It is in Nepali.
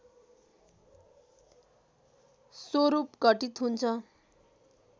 स्वरूप घटित हुन्छ